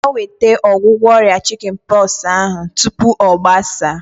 Ga nweta ọgwụgwọ ọrịa chikin pọksi ahu tupu ọ gbasaa!